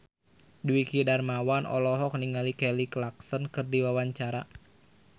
Dwiki Darmawan olohok ningali Kelly Clarkson keur diwawancara